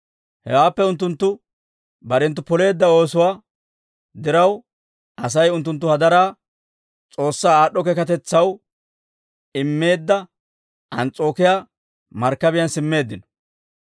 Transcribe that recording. Hewaappe unttunttu barenttu poleedda oosuwaa diraw, Asay unttunttu hadaraa S'oossaa aad'd'o keekatetsaw immeedda Ans's'ookiyaa Markkabiyaan simmeeddino.